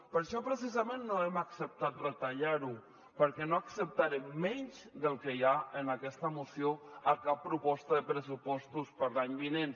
per això precisament no hem acceptat retallar ho perquè no acceptarem menys del que hi ha en aquesta moció a cap proposta de pressupostos per a l’any vinent